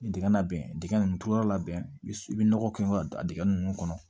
Dingɛ labɛn dingɛ ninnu tulo labɛn i bi nɔgɔ kɛ dingɛ nunnu kɔnɔ